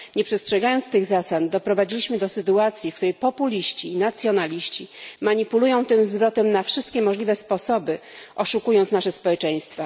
Nie przestrzegając tych zasad, doprowadziliśmy do sytuacji, w której populiści i nacjonaliści manipulują tym zwrotem na wszystkie możliwe sposoby, oszukując nasze społeczeństwa.